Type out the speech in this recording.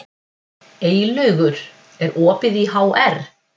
Eylaugur, er opið í HR?